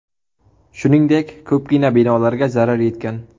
Shuningdek, ko‘pgina binolarga zarar yetgan.